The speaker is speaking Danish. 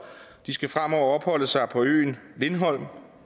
de skal fremover opholde sig på øen lindholm